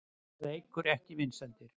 Það eykur ekki vinsældir.